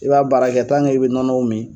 I b'a baara kɛ i be nɔnɔ min